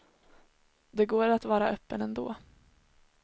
Det går att vara öppen ändå.